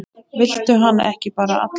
Viltu hana ekki bara alla?